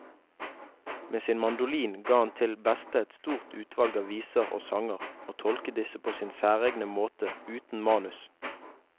Med sin mandolin ga han til beste et stort utvalg av viser og sanger, og tolket disse på sin særegne måte uten manus.